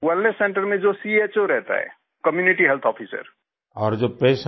जी wellness centre में जो चो रहता है कम्यूनिटी हेल्थ Officer